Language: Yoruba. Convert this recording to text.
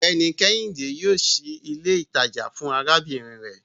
Ọgbẹni Kehinde yoo ṣii ile itaja fun arabinrin rẹ